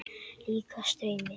Líkast draumi.